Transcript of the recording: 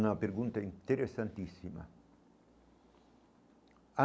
Uma pergunta interessantíssima